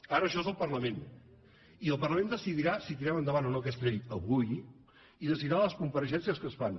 ara això és el parlament i el parlament decidirà si tirem endavant o no aquesta llei avui i decidirà les compareixences que es fan